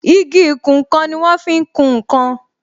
Igi ìkùn nkan ni wọn fi ń kún nkan